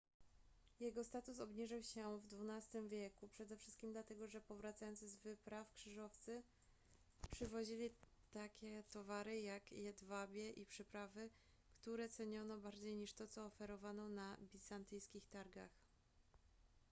jego status obniżył się w xii wieku przede wszystkim dlatego że powracający z wypraw krzyżowcy przywozili takie towary jak jedwabie i przyprawy które ceniono bardziej niż to co oferowano na bizantyjskich targach